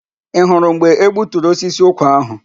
Ị hụrụ mgbe e gbuturu osisi ụkwa áhụ̀?